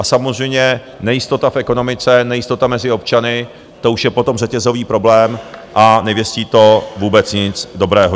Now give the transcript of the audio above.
A samozřejmě nejistota v ekonomice, nejistota mezi občany, to už je potom řetězový problém a nevěstí to vůbec nic dobrého.